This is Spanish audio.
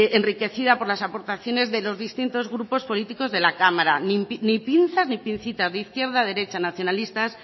enriquecida por las aportaciones de los distintos grupos políticos de la cámara ni pinzas ni pincitas izquierda o derecha nacionalistas